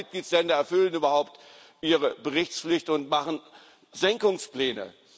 Nur zwei Mitgliedstaaten erfüllen überhaupt ihre Berichtspflicht und machen Senkungspläne.